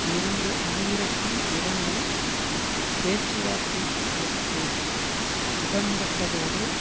இரண்டு ஆயிரத்தி இரண்டில் பேச்சுவார்த்தைகளுக்கு உடன்பட்டதோடு